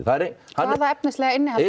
hvaða efnislega innihald